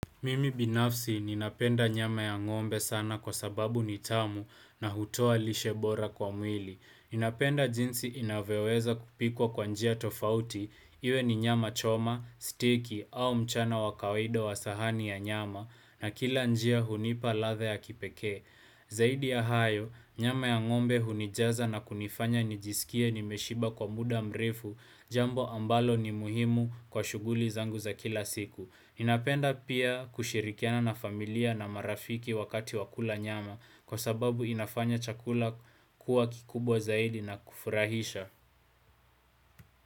Mimi binafsi ninapenda nyama ya ng'ombe sana kwa sababu nitamu na hutoa lishebora kwa mwili. Ninapenda jinsi inavyoweza kupikwa kwa njia tofauti. Iwe ni nyama choma, stecky au mchana wakawida wa sahani ya nyama na kila njia hunipa ladha ya kipekee. Zaidi ya hayo, nyama ya ngombe hunijaza na kunifanya nijisikie nimeshiba kwa muda mrefu jambo ambalo ni muhimu kwa shuguli zangu za kila siku. Napenda pia kushirikiana na familia na marafiki wakati wakula nyama kwa sababu inafanya chakula kuwa kikubwa zaidi na kufurahisha.